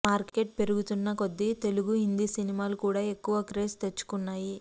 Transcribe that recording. market పెరుగుతునా కొద్ది తెలుగు హింది సినిమాలు కూడా ఎక్కువ క్రేజ్ తెచ్చుకున్నాయి